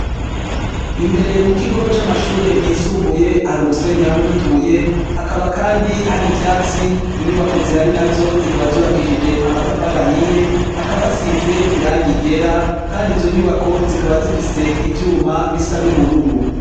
Imbere mu kigo c'amashure yisumbuye hari umusenyi hamwe n'utubuye, hakaba kandi hari ivyatsi, inyubako zihari nazo zikaba zubakishije amatafati ahiye, hakaba hasize irangi ryera, kandi izo nyubako zikaba zifise ivyuma bisa n'ubururu.